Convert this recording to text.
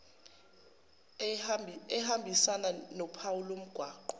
ehambisana nophawu lomgwaqo